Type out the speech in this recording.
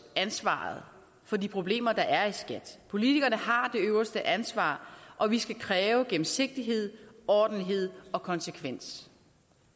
ansvaret for de problemer der er i skat politikerne har det øverste ansvar og vi skal kræve gennemsigtighed ordentlighed og konsekvens